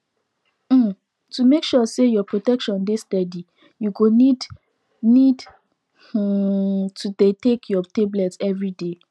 um to make sure say your protection dey steady you go need need um to dey take your tablet everyday